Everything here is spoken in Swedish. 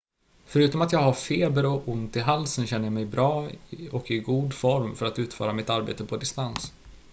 """förutom att jag har feber och ont i halsen känner jag mig bra och i god form för att utföra mitt arbete på distans.